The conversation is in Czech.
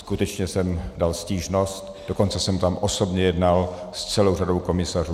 Skutečně jsem dal stížnost, dokonce jsem tam osobně jednal s celou řadou komisařů.